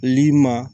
Li ma